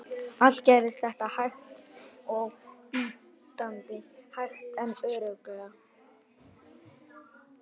Allt gerðist þetta hægt og bítandi, hægt en örugglega.